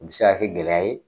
Nin mi se ka kɛ gɛlɛya ye